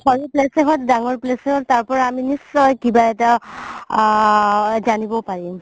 সৰু place য়ে হওক ডাঙৰ place য়ে হওক তাৰ পৰা আমি নিশ্চয় কিবা এটা আ জানিব পাৰিম